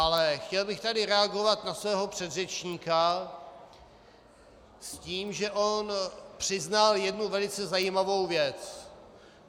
Ale chtěl bych tady reagovat na svého předřečníka s tím, že on přiznal jednu velice zajímavou věc.